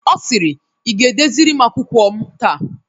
Ọ sịrị "ị ga edeziri m akwụkwọ m taa